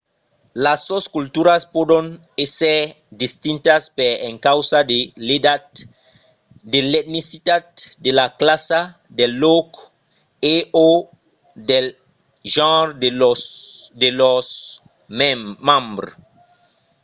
las sosculturas pòdon èsser distintas per encausa de l'edat de l'etnicitat de la classa del lòc e/o del genre de lors membres